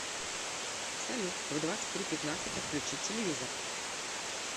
салют в двадцать три пятнадцать отключить телевизор